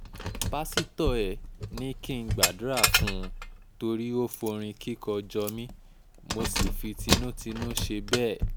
pásítọ̀ ẹ̀ ni kí n gbàdúrà fún un torí ó forin kíkó jọ mi mo sì fi tinútinú ṣe bẹ́ẹ̀